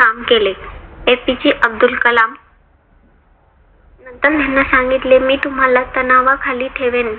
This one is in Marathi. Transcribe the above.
काम केले. एपीजे अब्दुल कलाम नंतर मला सांगितले मी तुम्हाला आता नावाखाली ठेवेन